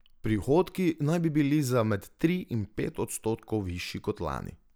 Prihodki naj bi bili za med tri in pet odstotkov višji kot lani.